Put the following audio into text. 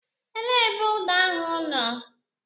Elee ebe ụda ahụ nọ?